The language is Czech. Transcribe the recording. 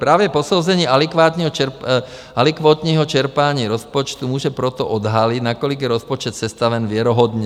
Právě posouzení alikvotního čerpání rozpočtu může proto odhalit, nakolik je rozpočet sestaven věrohodně.